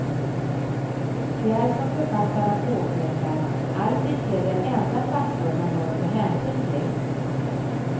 Det är som författarna påpekar alls icke den enda faktor man bör ta hänsyn till.